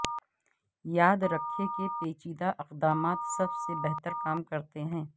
یاد رکھیں کہ پیچیدہ اقدامات سب سے بہتر کام کرتے ہیں